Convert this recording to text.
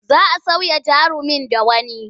Za a sauya jarumin da wani.